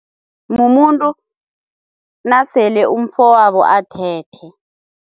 Mumuntu nasele umfowabo athethe.